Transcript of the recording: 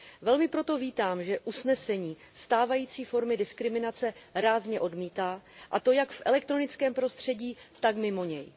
Velmi proto vítám, že usnesení stávající formy diskriminace rázně odmítá, a to jak v elektronickém prostředí, tak mimo něj.